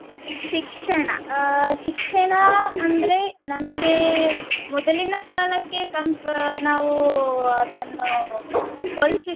ಶಿಕ್ಷಣ ಅಹ್ ಶಿಕ್ಷಣ ಅಂದ್ರೆ ನಮ್ಗೆ ಮೊದಲಿನ ಕಾಲಕ್ಕೆ ಕಂಪ್~ ನಾವೂ ಅದನ್ನು ಹೋಲ್ಸಿದ್ರೆ